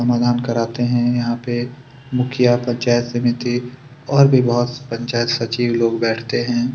समाधान कराते हैं यहाँ पे मुखिया पंचायत समिति और भी बहुत से पंचायत सचिव लोग बैठते हैं।